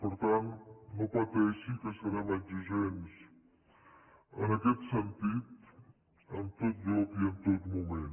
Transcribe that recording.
per tant no pateixi que serem exigents en aquest sentit en tot lloc i en tot moment